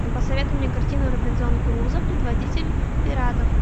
посоветуй мне картину робинзон крузо предводитель пиратов